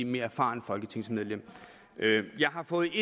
mere erfarent folketingsmedlem jeg har fået